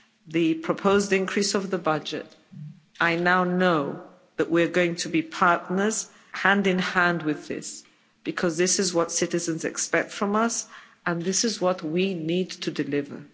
the proposed increase of the budget, I now know that we're going to be partners hand in hand with this because this is what citizens expect from us and this is what we need to deliver.